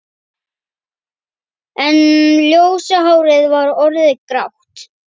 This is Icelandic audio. En ljósa hárið var orðið grátt.